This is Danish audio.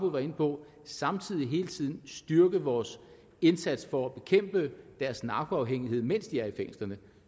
var inde på samtidig hele tiden styrke vores indsats for at bekæmpe deres narkoafhængighed mens de er i fængslerne